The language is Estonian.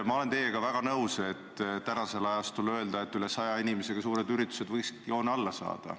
Ma olen teiega nõus, et üle 100 inimesega suured üritused võiksid ära jääda.